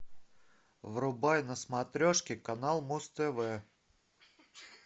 врубай на смотрешке канал муз тв